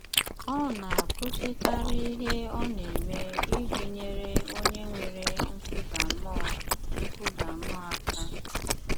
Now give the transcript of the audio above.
Ọ̀ na-àkwùsịkàrì ìhè ọ̀ na-eme ìjì nyere onye nwèrè nkùdà mmùọ nkùdà mmùọ aka.